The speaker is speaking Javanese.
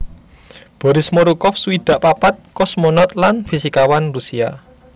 Boris Morukov swidak papat kosmonaut lan fisikawan Rusia